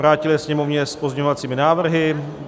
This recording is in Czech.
Vrátil jej Sněmovně s pozměňovacími návrhy.